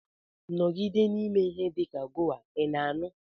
Nọgide na-eme ihe dị ka goar, ị na-anụ?